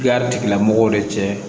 Garilamɔgɔw de cɛ